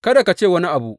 Kada ka ce wani abu.